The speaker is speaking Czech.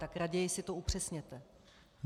Tak raději si to upřesněte.